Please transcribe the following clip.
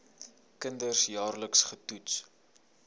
kinders jaarliks getoets